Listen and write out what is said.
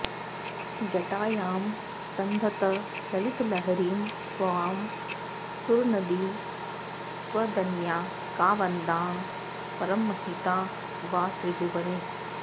जटायां सन्धत्त ललितलहरीं त्वां सुरनदी त्वदन्या का वन्द्या परममहिता वा त्रिभुवने